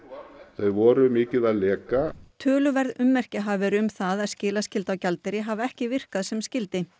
þau voru mikið að leka töluverð ummerki hafi verið um það að skilaskylda á gjaldeyri hafi ekki virkað sem skyldi